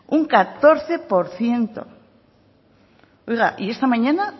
un catorce por ciento oiga y esta mañana